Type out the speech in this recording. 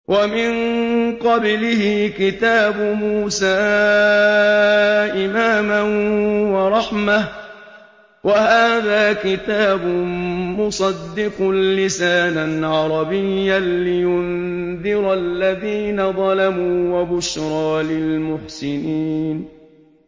وَمِن قَبْلِهِ كِتَابُ مُوسَىٰ إِمَامًا وَرَحْمَةً ۚ وَهَٰذَا كِتَابٌ مُّصَدِّقٌ لِّسَانًا عَرَبِيًّا لِّيُنذِرَ الَّذِينَ ظَلَمُوا وَبُشْرَىٰ لِلْمُحْسِنِينَ